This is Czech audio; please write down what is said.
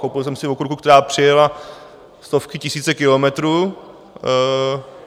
Koupil jsem si okurku, která přijela stovky, tisíce kilometrů.